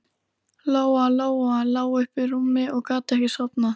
Lóa Lóa lá uppi í rúmi og gat ekki sofnað.